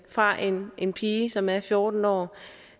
fra en en pige som er fjorten år